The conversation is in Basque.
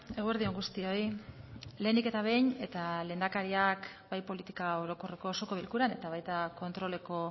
eguerdi on guztioi lehenik eta behin eta lehendakariak bai politika orokorreko osoko bilkuran eta baita kontroleko